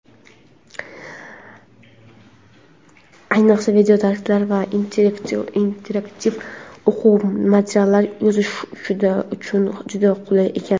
Ayniqsa video-darslar va interaktiv o‘quv materiallari yozish uchun juda qulay ekan.